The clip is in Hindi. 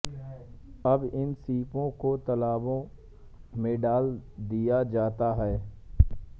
अब इन सीपों को तालाबों में डाल दिया जाता है